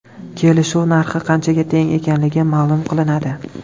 Kelishuv narxi qanchaga teng ekanligi ma’lum qilinadi.